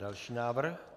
Další návrh.